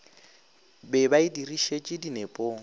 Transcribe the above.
be ba e dirišetše dinepong